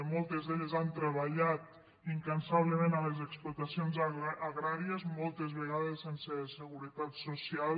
moltes d’elles han treballat incansablement a les explotacions agràries moltes vegades sense segu·retat social